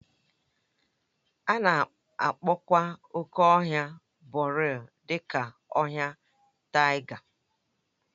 A na-akpọkwa oke ọhịa boreal dị ka ọhịa taiga